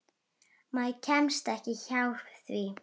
Maður kemst ekki hjá því.